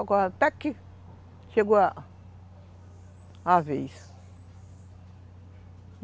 Agora até que, chegou a vez.